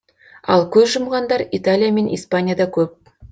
ал көз жұмғандар италия мен испанияда көп